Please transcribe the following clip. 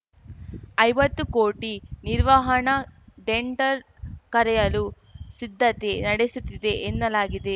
ಐವತ್ತು ಕೋಟಿ ನಿರ್ವಹಣಾ ಡೆಂಡರ್‌ ಕರೆಯಲು ಸಿದ್ಧತೆ ನಡೆಸುತ್ತಿವೆ ಎನ್ನಲಾಗಿದೆ